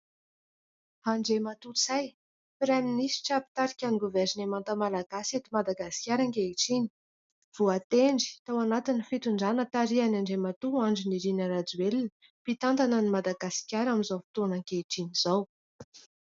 Andriamatoa Ntsay praiminitra mpitarika ny governemanta Malagasy eto Madagasikara ankehitriny, voatendry tao anatiny fitondrana tarihan'i Andriamatoa Andry Nirina rajoelina mpitantana ny Madagasikara amin'izao fotoana ankehitriny izao.